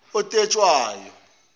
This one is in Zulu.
otetshwayo